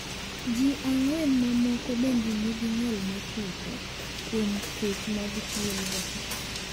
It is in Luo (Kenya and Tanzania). Ji ang’wen mamoko bende nigi ng'ol ma chutho kuom kecho mag thuolgo.